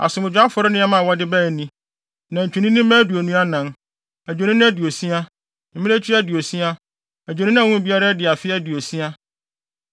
Asomdwoe afɔre nneɛma a wɔde bae ni: nantwininimma aduonu anan, adwennini aduosia, mmirekyi aduosia, adwennini a wɔn mu biara adi afe aduosia.